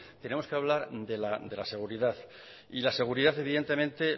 tenemos que hablar de la seguridad y la seguridad evidentemente